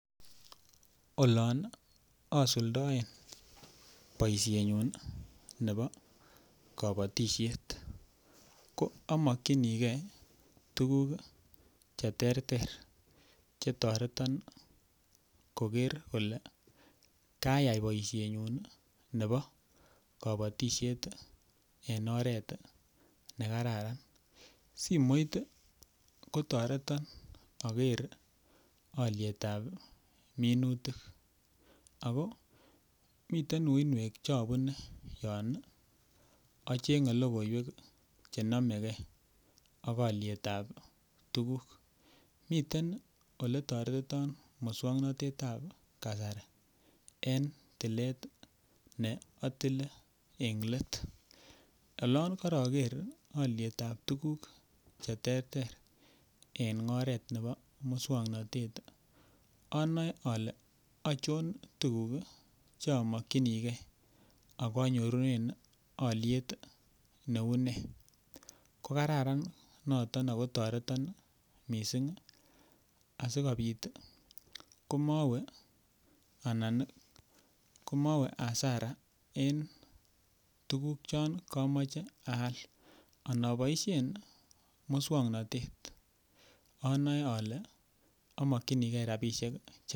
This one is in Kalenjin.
Olon asuldoen boisienyun nebo kabatisiet ko amokyinigee tuguk cheterter chetoreton koker kole kayai boisienyun ne bo kobotisiet en oret nekararan ,simoit kotoreton aker alyetab minutik akoo miten uinwek chobunee yon acheng'ee logoiwek chenomegee ak alyetab tuguk, miten ole toretiton muswoknotetab kasari en tilet ne atile eng let olon koroker alyetab tuguk cheterter eng oret nebo muswoknotet. anoe ale achon tuguk cheamokyinigee ako anyorunen alyet neu nee kokararan noto akotoreton missing asikobit komowee anan ii komowee hasara en tuguk chon komoche aal anoboisien muswoknotet anoe alee amokyinikee rapisiek chetian.